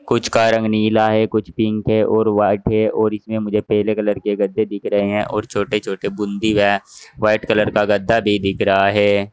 कुछ का रंग नीला है कुछ पिंक है और व्हाइट है और इसमें मुझे पेले कलर के गद्दे दिख रहे हैं और छोटे-छोटे बूंदी वा। व्हाइट कलर का गद्दा भी दिख रहा है।